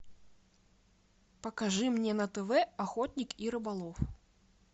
покажи мне на тв охотник и рыболов